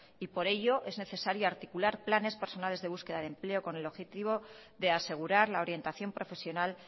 y por ello es necesario articular planes personales de búsqueda de empleo con el objetivo de asegurar la orientación profesional